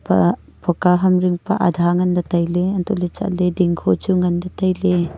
pa poka ham jingpe adha nganla tailey hantohley chatley dingko chu nganley tailey.